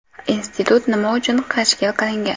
Institut nima uchun tashkil qilingan?